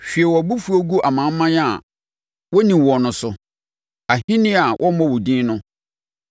Hwie wʼabofuo gu amanaman a wɔnni woɔ no so, ahennie a wɔmmɔ wo din no;